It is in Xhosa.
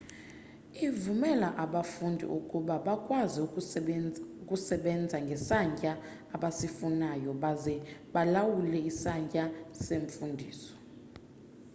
ivumela abafundi ukuba bakwazi ukusebenza ngesantya abasifunayo baze balawule isantya semfundiso